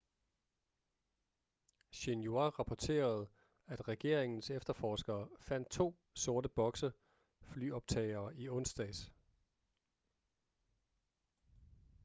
xinhua rapporterede at regeringens efterforskere fandt to sort boks flyoptagere i onsdags